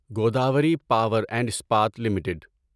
Godavari power and Ispat limited